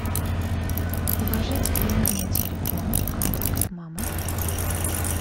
положить деньги на телефон контакт мама